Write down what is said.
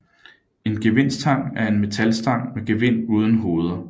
En gevindstang er en metalstang med gevind uden hoveder